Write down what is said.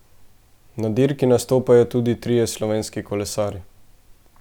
Na dirki nastopajo tudi trije slovenski kolesarji.